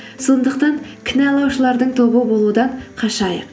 сондықтан кінәлаушылардың тобы болудан қашайық